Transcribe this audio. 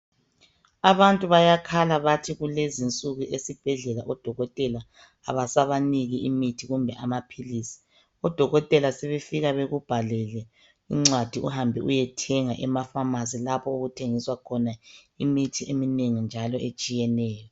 Abantu bayakhala bathi kulezinsuku esibhedlela odokotela abasabaniki imithi kumbe amaphilisi, odokotela sebefika bakubhalele incwadi uhambe uyethenga emafamasi lapho okuthengiswa khona imithi eminengi njalo etshiyeneyo.